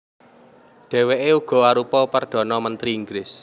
Dhèwèké uga arupa perdhana mentri Inggris